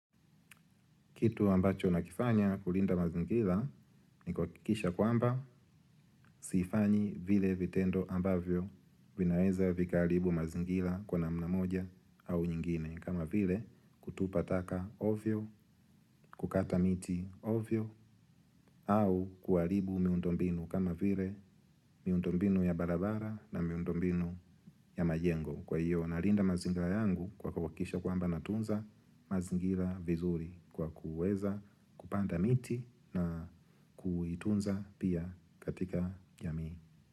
Kitu ambacho nakifanya kulinda mazingira ni kuhakikisha kwamba sifanyi vile vitendo ambavyo vinaweza vikaharibu mazingira kwa namna moja au nyingine. Kama vile kutupa taka ovyo, kukata miti ovyo au kuharibu miundo mbinu. Kama vile miundo mbinu ya barabara na miundo mbinu ya majengo kwa hiyo. Nalinda mazinga yangu kwa kahakikisha kwa amba natunza mazingira vizuri kwa kuweza kupanda miti na kuitunza pia katika jamii.